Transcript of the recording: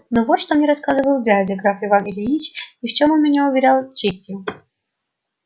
но вот что мне рассказывал дядя граф иван ильич и в чем он меня уверял честью